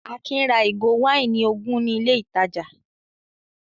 Akin ra ìgò wáìnì ogun ní ilé-ìtajà?